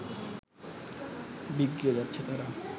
বিগড়ে যাচ্ছে তারা